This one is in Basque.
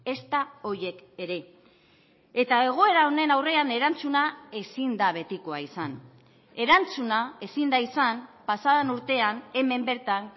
ezta horiek ere eta egoera honen aurrean erantzuna ezin da betikoa izan erantzuna ezin da izan pasaden urtean hemen bertan